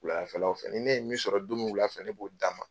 Wuladafɛlaw fɛ ni ne ye min sɔrɔ wuladafɛ, ne b'o d'a ma.